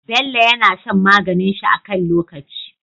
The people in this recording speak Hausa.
Bello yAna shan maganin shi a kan lokaci